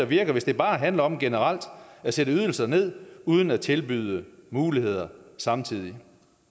virker hvis det bare handler om generelt at sætte ydelser ned uden at tilbyde muligheder samtidig